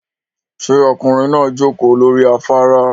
Ṣé ọkùnrin náà jókòó lórí afárá?